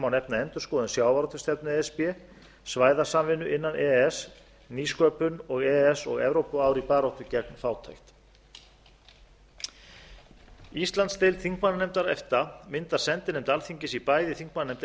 nefna endurskoðun sjávarútvegsstefnu e s b svæðasamvinnu innan e e s nýsköpun og e e s og evrópuár í baráttunni gegn fátækt íslandsdeild þingmannanefndar efta myndar sendinefnd alþingis í bæði þingmannanefnd